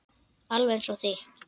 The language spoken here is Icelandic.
Alveg eins og þitt.